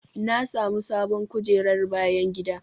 Na sami sabon kujerar bayan gida.